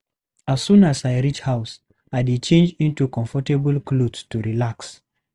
As soon as I reach house, I dey change into comfortable clothes to relax.